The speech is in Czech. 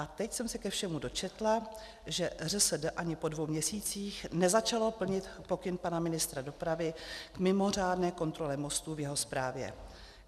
A teď jsem se ke všemu dočetla, že ŘSD ani po dvou měsících nezačalo plnit pokyn pana ministra dopravy k mimořádné kontrole mostů v jeho správě.